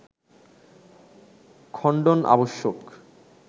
খণ্ডন আবশ্যক